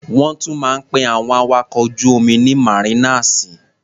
Wọ́n tún máa ń pe àwọn awakọ̀ ojú-omi ní màrínàsì.